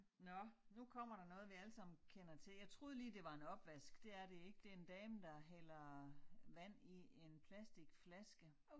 Nåh nu kommer der noget vi alle sammen kender til. Jeg troede lige det var en opvask det er det ikke. Det en dame der hælder vand i en plastikflaske